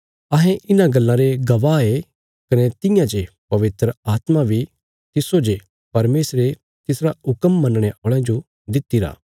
अहें इन्हां गल्लां रे गवाह ये कने तियां जे पवित्र आत्मा बी तिस्सो जे परमेशरे तिसरा हुक्म मनणे औल़यां जो दित्तिरा